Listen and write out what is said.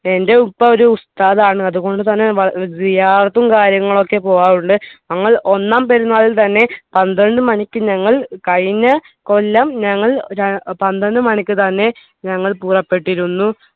എൻ്റെ ഉപ്പ ഒരു ഉസ്താദാണ് അതുകൊണ്ട് തന്നെ ഏർ ഉം കാര്യങ്ങളൊക്കെ പോകാറുണ്ട് ഞങ്ങൾ ഒന്നാം പെരുന്നാളിന് തന്നെ പന്ത്രണ്ട് മണിക്ക് ഞങ്ങൾ കഴിഞ്ഞ കൊല്ലം ഞങ്ങൾ ഏർ പന്ത്രണ്ട് മണിക്ക് തന്നെ ഞങ്ങൾ പുറപ്പെട്ടിരുന്നു